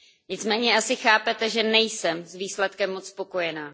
Nicméně asi chápete, že nejsem s výsledkem moc spokojená.